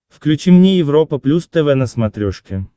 включи мне европа плюс тв на смотрешке